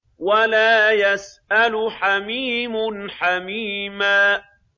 وَلَا يَسْأَلُ حَمِيمٌ حَمِيمًا